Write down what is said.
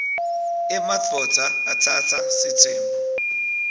emadvodza atsatsa sitsembu